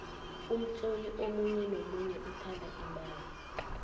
umtloli omunye nomunye uthanda imali